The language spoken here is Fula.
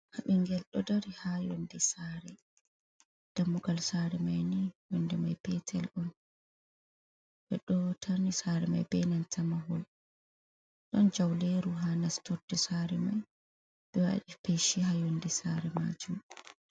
Habingel do dari ha yondi sare, dammugal sare mai ni yonde mai petel, on b dotani sare mai be nantama hol don jauleru ha nastorde sare mai be wadi peshi ha yondi sare majum.